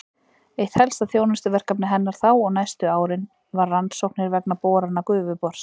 Eitt helsta þjónustuverkefni hennar þá og næstu árin var rannsóknir vegna borana Gufubors.